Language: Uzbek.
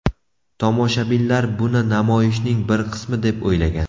Tomoshabinlar buni namoyishning bir qismi deb o‘ylagan.